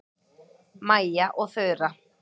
Mæja og Þura